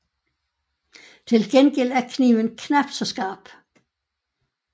Til gengæld er kniven knapt så skarp